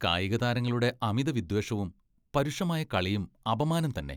കായികതാരങ്ങളുടെ അമിതവിദ്വേഷവും, പരുഷമായ കളിയും അപമാനം തന്നെ.